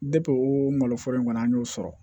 o maloforo in kɔni an y'o sɔrɔ